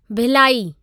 Bhilai